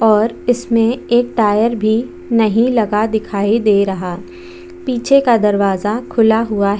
और इसमें एक टायर भी नहीं लगा दिखाई दे रहा पीछे का दरवाजा खुला हुआ है।